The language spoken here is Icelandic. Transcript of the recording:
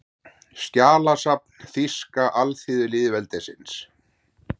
Skjalasafn Þýska alþýðulýðveldisins